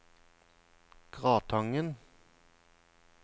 Gratangen